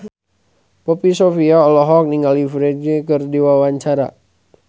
Poppy Sovia olohok ningali Ferdge keur diwawancara